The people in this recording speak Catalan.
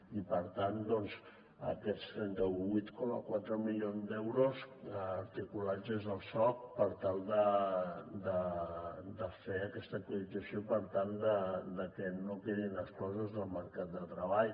i per tant doncs aquests trenta vuit coma quatre milions d’euros articulats des del soc per tal de fer aquesta actualització i que no quedin exclosos del mercat de treball